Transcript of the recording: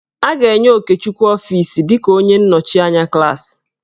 A ga-enye Okechukwu ọfiisi dịka onye nnọchianya klaasị.